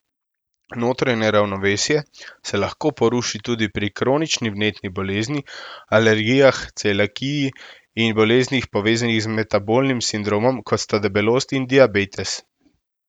Notranje ravnovesje se lahko poruši tudi pri kronični vnetni bolezni, alergijah, celiakiji in boleznih, povezanih z metabolnim sindromom, kot sta debelost in diabetes.